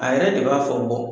A yɛrɛ de b'a fɔ